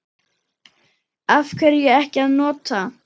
Af hverju ekki að nota?